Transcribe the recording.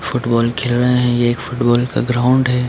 Football खेल रहे हैं ये एक फुटबॉल का ग्राउंड है।